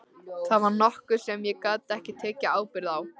Það var nokkuð sem ég gat ekki tekið ábyrgð á.